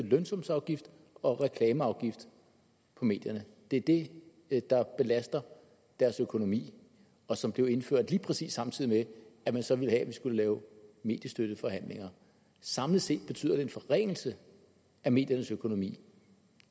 lønsumsafgift og reklameafgift på medierne det er det der belaster deres økonomi og som blev indført lige præcis samtidig med at man så ville have at vi skulle lave mediestøtteforhandlinger samlet set betyder det en forringelse af mediernes økonomi